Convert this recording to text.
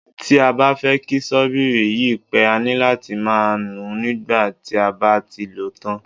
Tí a bá fẹ́ kí ṣọ́bìrì yí pẹ́, a ní láti máa nùú nígbà tí a bá ti lòó tán.